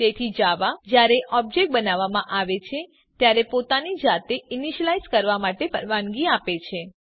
તેથી જાવા જયારે ઓબ્જેક્ટ બનાવવામાં આવે છે ત્યારે પોતાની જાતે ઈનીશ્યલાઈઝ કરવા માટે પરવાનગી આપે છે